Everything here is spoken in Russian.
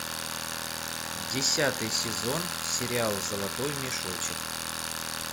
десятый сезон сериал золотой мешочек